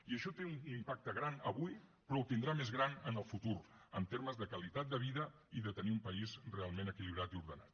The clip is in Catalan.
i això té un impacte gran avui però el tindrà més gran en el futur en termes de qualitat de vida i de tenir un país realment equilibrat i ordenat